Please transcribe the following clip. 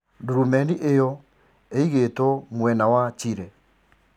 Darubini iyo eigitwo mwena wa Chile.